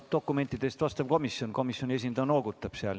Dokumentide eest vastutab komisjon, komisjoni esindaja noogutab seal.